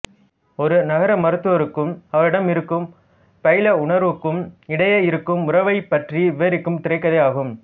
ஒரு நகர மருத்துவருக்கும் அவரிடம் இருக்கும் பயிலுனருக்கும் இடையே இருக்கும் உறவைப் பற்றி விவரிக்கும் திரைக்கதை ஆகும்